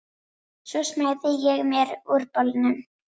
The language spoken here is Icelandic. Svo smeygði ég mér úr bolnum.